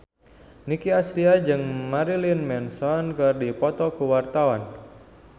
Nicky Astria jeung Marilyn Manson keur dipoto ku wartawan